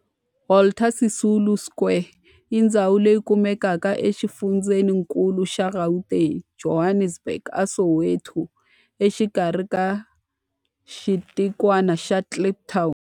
Walter Sisulu Square i ndhawu leyi kumekaka exifundzheninkulu xa Gauteng, Johannesburg, a Soweto, exikarhi ka xitikwana xa Kliptown.